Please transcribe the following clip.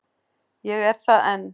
Ég er það enn.